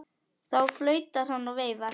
Þá flautar hann og veifar.